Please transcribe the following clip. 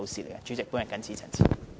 代理主席，我謹此陳辭。